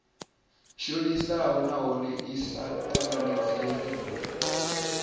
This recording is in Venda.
shonisaho nahone i sa tanganedzeiho